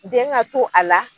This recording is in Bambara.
den ŋa to a la